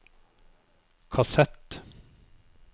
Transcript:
kassett